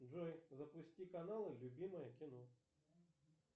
джой запусти каналы любимое кино